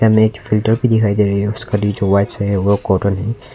सामने एक फ़िल्टर भी दिखाई दे रहे है उसका है वो कॉटन है।